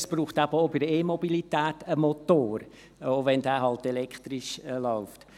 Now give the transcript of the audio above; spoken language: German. Es braucht eben auch bei der E-Mobilität einen Motor, auch wenn dieser halt elektrisch läuft.